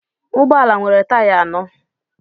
Ụgbọ ala nwere taya anọ